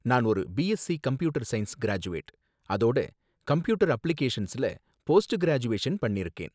நான் ஒரு BSc computer science graduate, அதோட கம்ப்யூட்டர் அப்ளிகேஷன்ஸ்ல போஸ்ட் கிராஜூவேஷன் பண்ணிருக்கேன்